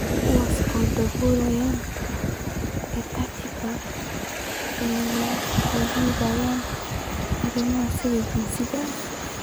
Kuwaas oo daboolaya EdTech ee la xidhiidha arrimaha sida jinsiga,